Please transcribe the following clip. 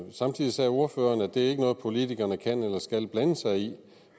samtidig sagde ordføreren at det ikke er noget politikerne kan eller skal blande sig i